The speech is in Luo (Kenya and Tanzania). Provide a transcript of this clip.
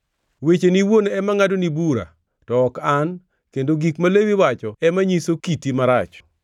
Wecheni iwuon ema ngʼadoni bura, to ok an, kendo gik ma lewi wacho ema nyiso kiti marach.